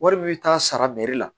Wari min bɛ taa sara bɛɛri la